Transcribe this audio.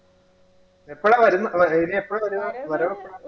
എപ്പഴാ വരുന്നേ? അല്ല ഇനി എപ്പഴാ വരുക? വരുന്ന എപ്പഴാ?